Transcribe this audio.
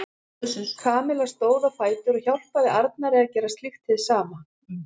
Kamilla stóð á fætur og hjálpaði Arnari að gera slíkt hið sama.